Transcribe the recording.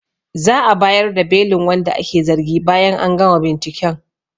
Za'a bayar da belin wanda ake zargi bayan an gama binciken